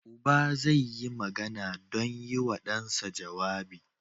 Uba zai yi magana don yi wa ɗansa jawabi.